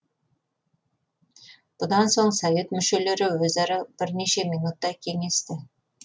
бұдан соң совет мүшелері өзара бірнеше минуттай кеңесті